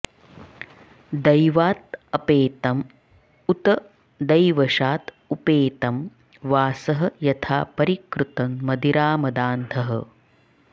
दैवात् अपेतम् उत दैवशात् उपेतम् वासः यथा परिकृतं मदिरामदान्धः